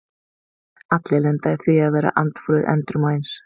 Allir lenda í því að vera andfúlir endrum og eins.